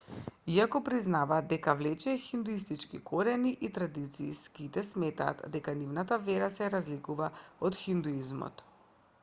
иако признаваат дека влече хиндуистички корени и традиции сиките сметаат дека нивната вера се разликува од хиндуизмот